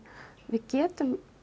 við getum